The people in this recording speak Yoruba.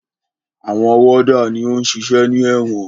Àwọn wọ́dà ni ó ń ṣiṣẹ́ ní ẹ̀wọ̀n.